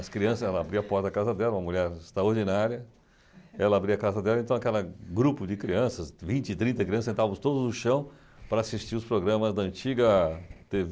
As crianças, ela abria a porta da casa dela, uma mulher extraordinária, ela abria a casa dela, então aquela grupo de crianças, vinte, trinta crianças, sentávamos todos no chão para assistir os programas da antiga tê vê